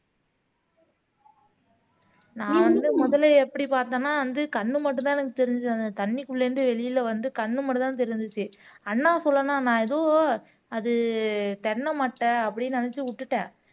நான் வந்து முதல்ல எப்படி பார்த்தேன்னா வந்து கண்ணு மட்டும்தான் எனக்கு தெரிஞ்சது அந்த தண்ணிக்குள்ள இருந்து வெளியில வந்து கண்ணு மட்டும்தான் தெரிஞ்சுச்சு அண்ணா சொல்லணும்னா நான் ஏதோ அது தென்னை மட்டை அப்படின்னு நினைச்சு விட்டுட்டேன்